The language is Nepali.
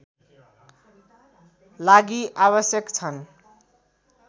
लागि आवश्यक छन्